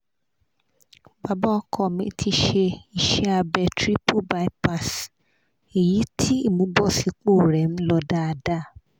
bàbá ọkọ mi ti ṣe ise abe triple bypass eyi ti imubosipo re n lo dáadáa